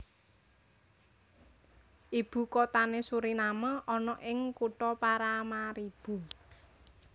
Ibu kotane Suriname ana ing kutha Paramaribo